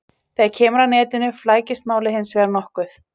Þegar kemur að netinu flækist málið hins vegar nokkuð.